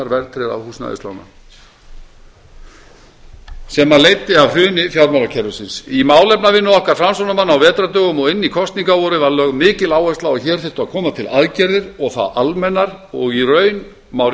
höfuðstólshækkunar verðtryggðra húsnæðislána sem leiddi af hruni fjármálakerfisins í málefnavinnu okkar framsóknarmanna á vetrardögum og inn í kosningavorið var lögð mikil áhersla á að hér þyrfti að koma til aðgerðir og það almennar og í raun má